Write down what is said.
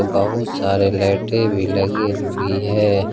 बहुत सारे लाइटें भी लगी हुई है।